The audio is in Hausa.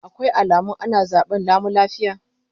Akwai alamun ana zaben lami lafiya?